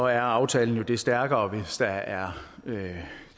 er aftalen jo stærkere hvis der er